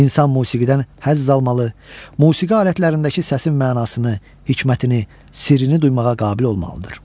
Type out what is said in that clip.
İnsan musiqidən həzz almalı, musiqi alətlərindəki səsin mənasını, hikmətini, sirrini duymağa qabil olmalıdır.